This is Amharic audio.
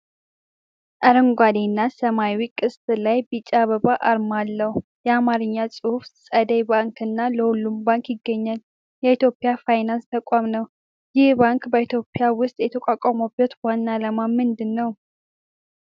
አረንጓዴ እና ሰማያዊ ቅስት ላይ ቢጫ አበባ አርማ አለው። የአማርኛ ጽሑፍ "ፀደይ ባንክ" እና "ለሁሉም ባንክ" ይገኛል። የኢትዮጵያ ፋይናንስ ተቋም ነው። ይህ ባንክ በኢትዮጵያ ውስጥ የተቋቋመበት ዋና ዓላማ ምን ነው?